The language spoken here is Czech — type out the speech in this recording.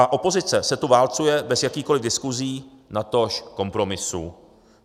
A opozice se tu válcuje bez jakýchkoli diskusí, natož kompromisů.